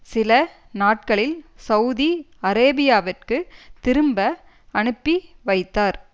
சில நாட்களில் சவுதி அரேபியாவிற்கு திரும்ப அனுப்பி வைத்தார்